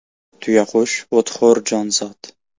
Tuyaqush o‘txo‘r jonzot.